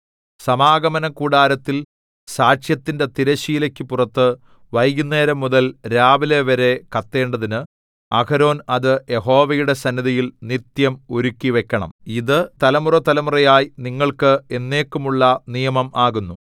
സമാഗമനകൂടാരത്തിൽ സാക്ഷ്യത്തിന്റെ തിരശ്ശീലയ്ക്കു പുറത്തു വൈകുന്നേരംമുതൽ രാവിലെവരെ കത്തേണ്ടതിന് അഹരോൻ അത് യഹോവയുടെ സന്നിധിയിൽ നിത്യം ഒരുക്കിവയ്ക്കണം ഇത് തലമുറതലമുറയായി നിങ്ങൾക്ക് എന്നേക്കുമുള്ള നിയമം ആകുന്നു